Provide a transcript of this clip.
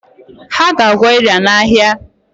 Ha ga-akwọ ịra n’ahịa